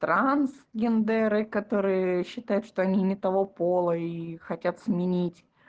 трансгендеры которые считают что они не того пола и хотят сменить